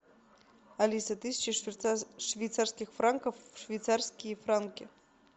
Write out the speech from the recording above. алиса тысяча швейцарских франков в швейцарские франки